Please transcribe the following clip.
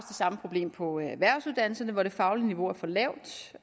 samme problem på erhvervsuddannelserne hvor det faglige niveau er for lavt